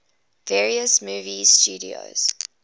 various movie studios